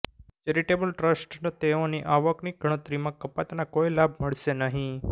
charitable ટ્રસ્ટને તેઓની આવકની ગણતરીમાં કપાતના કોઈ લાભ મળશે નહીં